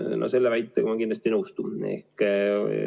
No selle väitega ma kindlasti ei nõustu.